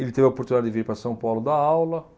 Ele teve a oportunidade de vir para São Paulo dar aula.